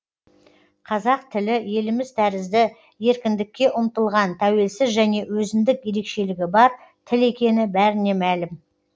қазақ тілі еліміз тәрізді еркіндікке ұмтылған тәуелсіз және өзіндік ерекшелігі бар тіл екені бәріне мәлім